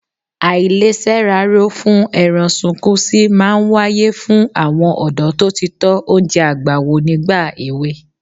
Àìlesẹ́raró-fún-ẹran-sunkúnsí máa ń wáyé fún àwọn ọ̀dọ́ tó ti tọ oúnjẹ àgbà wò nígbà èwe.